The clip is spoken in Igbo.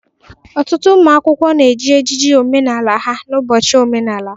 Ọtụtụ ụmụ akwụkwọ na-eji ejiji omenala ha n'ụbọchị omenala.